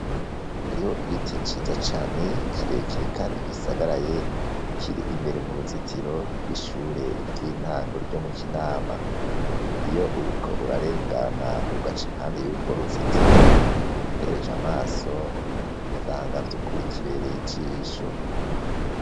Hariho igiti ciza cane kirekire kandi gisagaraye kiri imbere mu ruzitiro rw'ishure ry'intango ryo mu Kinama, iyo uriko urarengana ugaca impande yurwo ruzitiro utereje amaso usanga vyukuri kiberey'ijisho.